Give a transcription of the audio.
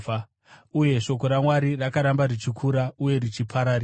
Uye shoko raMwari rakaramba richikura uye richipararira.